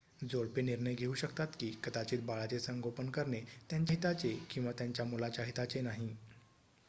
जोडपे निर्णय घेऊ शकतात की कदाचित बाळाचे संगोपन करणे त्यांच्या हिताचे किंवा त्यांच्या मुलाच्या हिताचे नाही